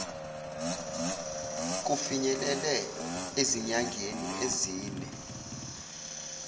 kufinyelele ezinyangeni ezine